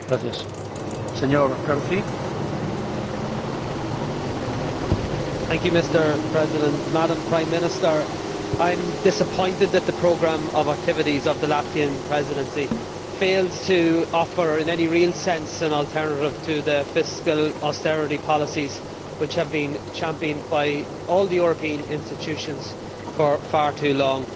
Mr President, Madam Prime Minister, I am disappointed that the programme of activities of the Latvian Presidency fails to offer in any real sense an alternative to the fiscal austerity policies which have been championed by all the European institutions for far too long.